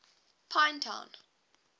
pinetown